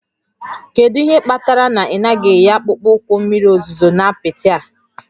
Kedu ihe kpatara na ị naghị eyi akpụkpọ ụkwụ mmiri ozuzo na apịtị a?